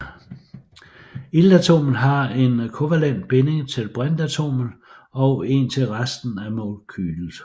Iltatomet har en kovalent binding til brintatomet og en til resten af molekylet